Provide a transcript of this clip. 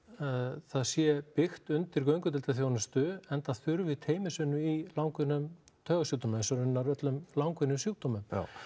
það sé byggt undir göngudeildarþjónustu enda þurfi teymisvinnu í langvinnum taugasjúkdómum eins og raunar öllum langvinnum sjúkdómum